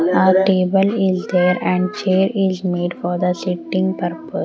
all table is there and chair is made for the sitting purpose .